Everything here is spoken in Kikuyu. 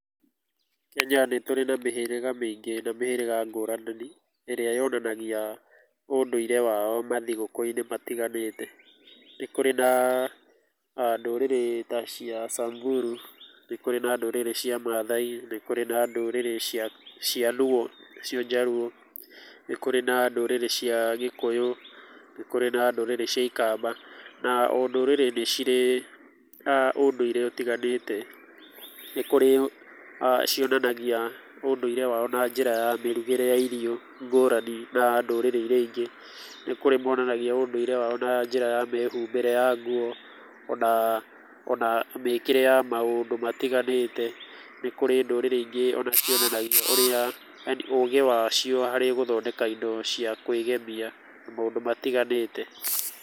Kenya nĩ tũrĩ na mĩhĩrĩga mĩingĩ na mĩhĩrĩga ngũrani, ĩrĩa yonanagia ũndũire wao mathigũkũ-inĩ matiganĩte. Nĩ kũrĩ na ndũrĩrĩ ta cia Samburu, nĩ kũrĩ na ndũrĩrĩ cia Maathai, nĩ kũrĩ na ndũrĩrĩ cia cia Luo, nĩcio Njaruo, nĩ kũrĩ na ndũrĩrĩ cia Gĩkũyũ, nĩ kũrĩ na ndũrĩrĩ cia Ikamba. Na o ndũrĩrĩ nĩcirĩ ũndũire ũtiganĩte. Nĩ kũrĩ cionanagia ũndũire wao na njĩra cia mĩrugĩre ya irio ngũrani na ndũrĩrĩ iria ingĩ. Nĩ kũrĩ monanagia ũdũire wao na njĩra ya mĩhumbĩre ya nguo, ona ona mĩkĩre ya maũndũ matiganĩte. Nĩ kũrĩ ndũrĩrĩ ingĩ ona cionanagia ũrĩa, yani ũgĩ wacio harĩ gũthondeka indo cia kwĩgemia na maũndũ matiganĩte.